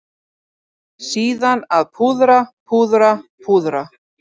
Síðan að púðra, púðra, púðra.